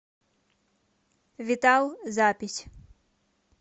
витал запись